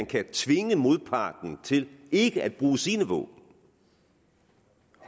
kan tvinge modparten til ikke at bruge sine våben